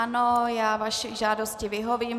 Ano, já vaší žádosti vyhovím.